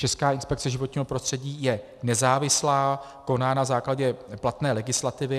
Česká inspekce životního prostředí je nezávislá, koná na základě platné legislativy.